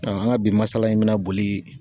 an ka bi masala in bɛna boli.